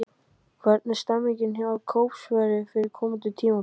Hvernig er stemmingin á Kópaskeri fyrir komandi tímabil?